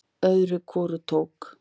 Öðru hvoru tók